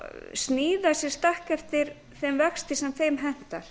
sníða sér stakk eftir þeim vexti sem þeim hentar